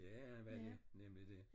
Ja han var det nemlig det